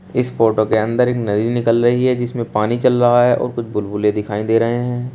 इस फोटो के अंदर एक नदी निकल रही है जिसमें पानी चल रहा है और कुछ बुलबुले दिखाई दे रहे हैं।